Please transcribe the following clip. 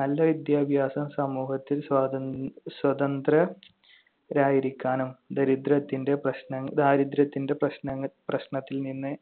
നല്ല വിദ്യാഭ്യാസം സമൂഹത്തിൽ സ്വാതന്‍~ സ്വതന്ത്ര~ രായിരിക്കാനും ദരിദ്രത്തിന്‍റെ പ്രശ്ന~ ദാരിദ്ര്യത്തിന്‍റെ പ്രശ്ന~ പ്രശ്നത്തിൽ നിന്ന്